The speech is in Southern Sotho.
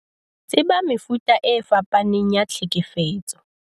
Tseba mefuta e fapaneng ya tlhekefetso.